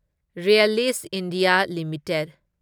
Reliance India limited